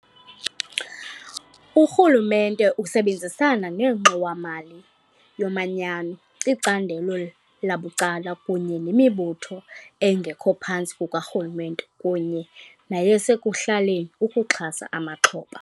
Urhulumente usebenzisana neNgxowa-mali yoManyano, icandelo labucala kunye nemibutho engekho phantsi kukarhulumente kunye neyasekuhlaleni ukuxhasa amaxhoba.